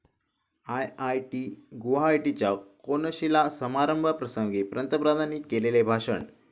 I I I T गुवाहाटीच्या कोनशिला समारंभाप्रसंगी पंतप्रधानांनी केलेले भाषण